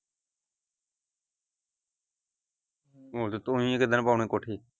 ਹੁਣ ਤੂੰ ਹੀ ਕੋਠੇ।